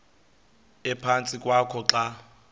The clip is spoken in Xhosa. ephantsi kwakho xa